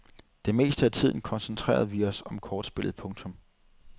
Det meste af tiden koncentrerede vi os om kortspillet. punktum